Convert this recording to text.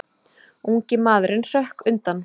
Ungi maðurinn hrökk undan.